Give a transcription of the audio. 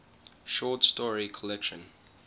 short story collection